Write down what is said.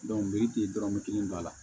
miriti dɔrɔmɛ kelen b'a la